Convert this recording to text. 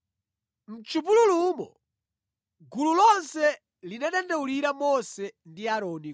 Mʼchipululumo gulu lonse linadandaulira Mose ndi Aaroni